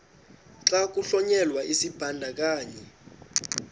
xa kuhlonyelwa isibandakanyi